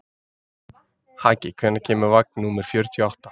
Haki, hvenær kemur vagn númer fjörutíu og átta?